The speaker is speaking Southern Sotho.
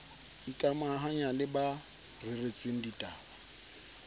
ikamahanya le ba reretsweng ditaba